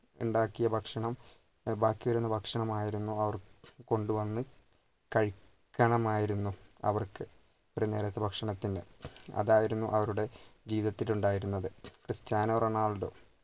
ഇണ്ടാക്കിയ ഭക്ഷണം ഉം ബാക്കിവരുന്ന ഭക്ഷണമായിരുന്നു അവർ കൊണ്ട് വന്ന് കഴിക്കണമായിരുന്നു അവർക്ക് ഒരു നേരത്തെ ഭക്ഷണത്തിന് അതായിരുന്നു അവരുടെ ജീവിതത്തിൽ ഉണ്ടായിരുന്നത് ക്രിസ്റ്റ്യാനോ റൊണാൾഡോ